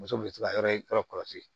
Muso bɛ se ka yɔrɔ yɔrɔ kɔlɔsi